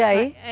E aí?